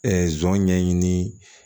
zon ɲɛɲini